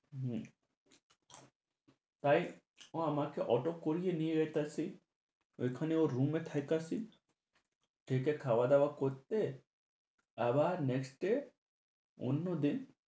উহ তাই ও আমাকে auto করিয়ে নিয়ে আইতাছে, ওইখানে ওর roommate খাইতাছি। খেয়ে দেয়ে খাওয়া-দাওয়া করতে আবার next এ অন্যদিন